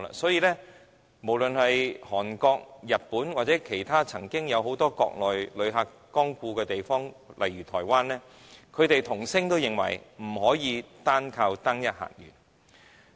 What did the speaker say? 所以，無論是韓國、日本，或其他曾有大量國內旅客光顧的地方如台灣，均異口同聲說不能依靠單一客源。